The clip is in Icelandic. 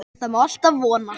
Það má alltaf vona.